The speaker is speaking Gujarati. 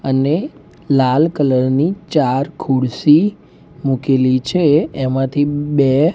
અને લાલ કલર ની ચાર ખુરસી મુકેલી છે એ માંથી બે--